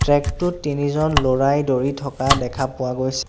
Track টোত তিনিজন ল'ৰাই দৌৰি থকা দেখা পোৱা গৈছে।